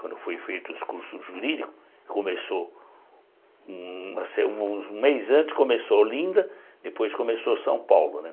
Quando foram feitos os cursos jurídicos, começou... Uma se um mês antes começou Olinda, depois começou São Paulo, né?